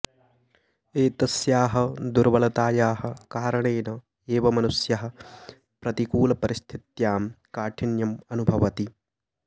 एतस्याः दुर्बलतायाः कारणेन एव मनुष्यः प्रतिकूलपरिस्थित्यां काठिन्यम् अनुभवति